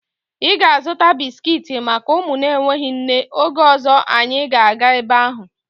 Ị ga-azụta bisiki maka ụmụ na-enweghị nne oge ọzọ anyị ga-aga ebe ahụ